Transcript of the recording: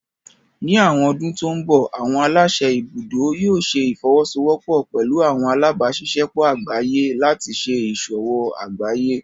Ní àwọn ọdún tó ń bọ̀, àwọn aláṣẹ ibùdó yóò ṣẹ ìfọwọ́sọwọ́pọ̀ pẹlú àwọn alábáṣiṣẹ́pọ̀ àgbáyé láti ṣé ìṣòwò àgbáyé